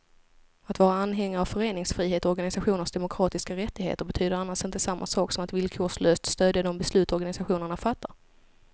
Att vara anhängare av föreningsfrihet och organisationers demokratiska rättigheter betyder annars inte samma sak som att villkorslöst stödja de beslut organisationerna fattar.